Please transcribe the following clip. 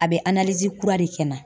A bɛ kura de kɛ n na.